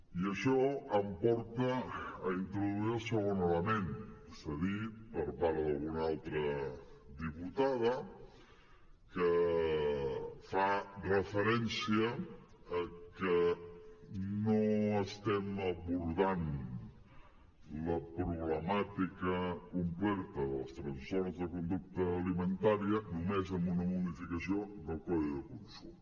i això em porta a introduir el segon element s’ha dit per part d’alguna altra diputada que fa referència a que no estem abordant la problemàtica completa dels trastorns de conducta alimentària només amb una modificació del codi de consum